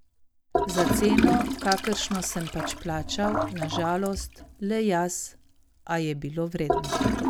Za ceno, kakršno sem pač plačal, na žalost, le jaz, a je bilo vredno.